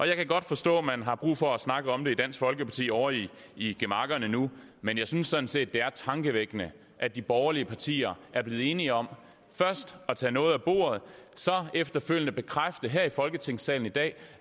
jeg kan godt forstå at man har brug for at snakke om det i dansk folkeparti ovre i i gemakkerne nu men jeg synes sådan set det er tankevækkende at de borgerlige partier er blevet enige om først at tage noget af bordet efterfølgende bekræfter her i folketingssalen i dag